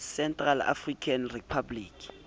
central african republic